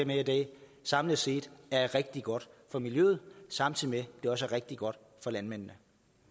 her i dag samlet set er rigtig godt for miljøet samtidig med også er rigtig godt for landmændene